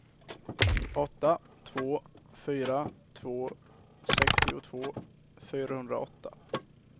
åtta två fyra två sextiotvå fyrahundraåtta